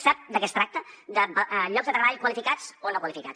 sap de què es tracta de llocs de treball qualificats o no qualificats